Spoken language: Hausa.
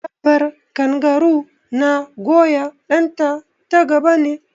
Dabbar kangaru na goya ɗan ta ta gaba ne